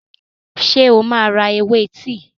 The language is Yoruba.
Ṣé o máa ra ewé tíì?